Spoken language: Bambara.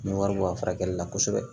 N bɛ wari bɔ a furakɛli la kosɛbɛ